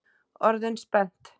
Orðin spennt?